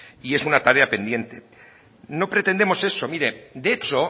y es una tarea pendiente no pretendemos eso mire de hecho